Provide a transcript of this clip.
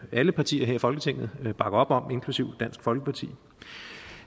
alle partier her i folketinget bakker op om inklusive dansk folkeparti